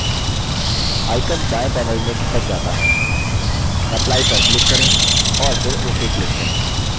icon दायें panel में खिसक जाता है apply पर click करें और फिर ok click करें